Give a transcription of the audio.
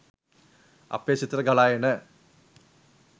අපේ සිතට ගලා එන